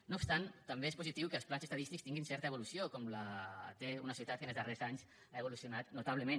no obstant també és positiu que els plans estadístics tinguin certa evolució com la té una societat que en els darrers anys ha evolucionat notablement